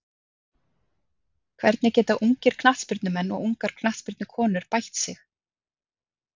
Hvernig geta ungir knattspyrnumenn og ungar knattspyrnukonur bætt sig?